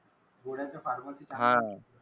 गोळ्या त्या pharmacy त चांगल्या